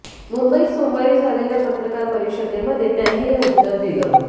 मुंबईत सोमवारी झालेल्या पत्रकार परिषदेमध्ये त्यांनी हे उत्तर दिलं